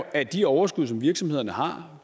at de overskud som virksomhederne har